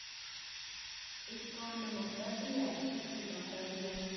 ਇਕ ਨਵੰਬਰ ਦੀ ਐ ਇਕ ਸਤੰਬਰ ਦੀ ਐ